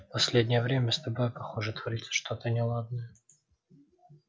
последнее время с тобой похоже творится что-то неладное